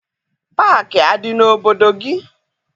Paakị adị n'obodo gị?